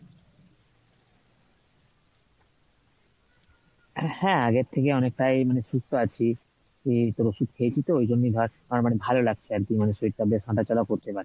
হ্যাঁ আগের থেকে অনেকটাই মানে সুস্থ আছি তোর ওষুধ খেয়েছি তো ওই জন্যই ধর মানে ভালো লাগছে আর কী মানে শরীর টা বেশ হাঁটাচলা করতে পারছি।